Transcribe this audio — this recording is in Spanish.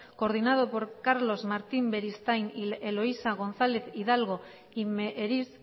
coordinados por carlos martín beristain y eloisa gonzález hidalgo y meheris